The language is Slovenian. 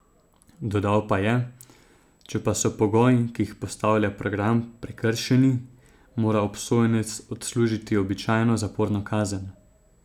Dodal pa je: "Če pa so pogoji, ki jih postavlja program, prekršeni, mora obsojenec odslužiti običajno zaporno kazen".